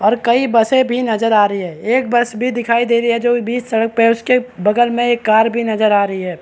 और कई बसे नज़र आ रही है एक बस भी दिखाई दे रही हैं जो बिच सड़क पर उसके बगल मे उसके कार भी नज़र आ रही हैं।